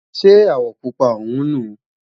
Ṣé àwọ̀ Pupa ọ̀hún nu?